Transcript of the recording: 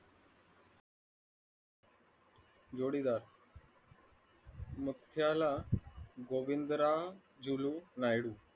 जोडीदार